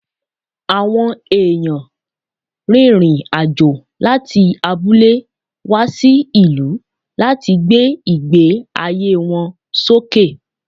Awọn eyàn rìnrìn àjò láti abúlé wá sí ìlú láti gbé ìgbé ayé wọn sókè